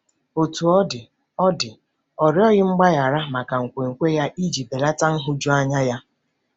Otú ọ dị, ọ dị, ọ rịọghị mgbaghara maka nkwenkwe ya iji belata nhụjuanya ya.